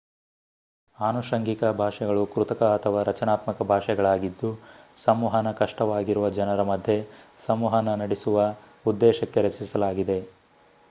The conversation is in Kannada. ಆನುಷಂಗಿಕ ಭಾಷೆಗಳು ಕೃತಕ ಅಥವಾ ರಚನಾತ್ಮಕ ಭಾಷೆಗಳಾಗಿದ್ದು ಸಂವಹನ ಕಷ್ಟವಾಗಿರುವ ಜನರ ಮಧ್ಯೆ ಸಂವಹನ ನಡೆಸುವ ಉದ್ದೇಶಕ್ಕೆ ರಚಿಸಲಾಗಿದೆ